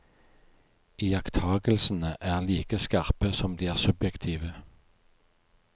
Iakttagelsene er like skarpe som de er subjektive.